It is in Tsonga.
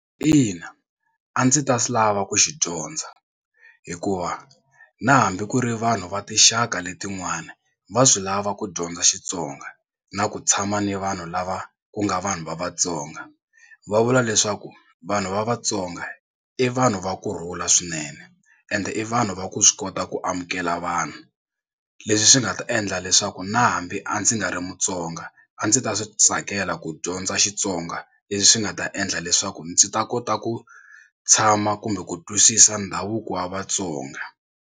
Ina a ndzi ta lava ku xi dyondza hikuva na hambi ku ri vanhu va tinxaka letin'wana va swi lava ku dyondza Xitsonga na ku tshama ni vanhu lava ku nga vanhu va vatsonga. Va vula leswaku vanhu va vatsonga i vanhu va kurhula swinene ende i vanhu va ku swi kota ku amukela vanhu leswi swi nga ta endla leswaku na hambi a ndzi nga ri mutsonga a ndzi ta swi tsakela ku dyondza Xitsonga leswi swi nga ta endla leswaku ndzi ta kota ku tshama kumbe ku twisisa ndhavuko wa vatsonga.